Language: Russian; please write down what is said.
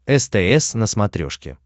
стс на смотрешке